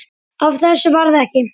Af þessu varð ekki.